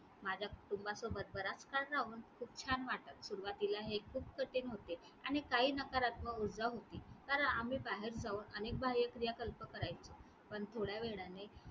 माझ्या कुटुंबासोबत बराच काळ राहून खूप छान वाटलं. सुरवातीला हे खूप कठीण होते आणि काही नकारात्मक ऊर्जा होती कारण आम्ही बाहेर जाऊन अनेक बाह्यक्रिया कल्प करायचो पण थोड्या वेळाने